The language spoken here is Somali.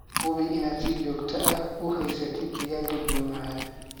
Hubi inaad si joogto ah u haysatid digaagga biyo macaan.